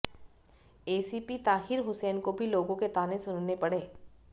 ACP Tahir Hussain को भी लोगों के ताने सुनने पड़े